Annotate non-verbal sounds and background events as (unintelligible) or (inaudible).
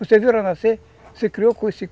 Você viu ela nascer, você se criou com (unintelligible)